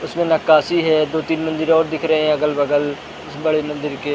इसमें नक्काशी है दो-तीन मंदिर और दिख रहे हैं अगल-बगल इस बड़े मंदिर के ।